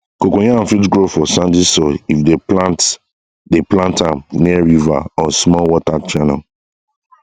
cocoyam fit grow for sandy soil if dey plant dey plant am near river or small water channel